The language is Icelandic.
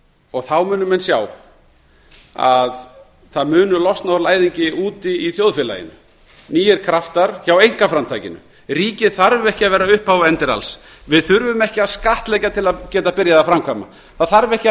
og þá munu menn sjá að það munu losna úr læðingi úti í þjóðfélaginu nýir kraftar hjá einkaframtakinu ríkið þarf ekki að vera upphaf og endir alls við þurfum ekki að skattleggja til að geta byrjað að framkvæma það þarf ekki